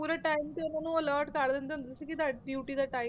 ਪੂਰੇ time ਤੇ ਉਹਨਾਂ ਨੂੰ alert ਕਰ ਦਿੰਦੇ ਹੁੰਦੇ ਸੀ ਕਿ ਤੁਹਾਡੀ duty ਦਾ time